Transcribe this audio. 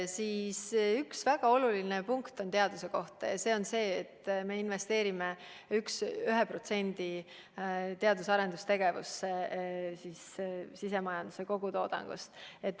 Üks väga oluline punkt teaduse kohta on see, et me investeerime teadus- ja arendustegevusse 1% sisemajanduse kogutoodangust.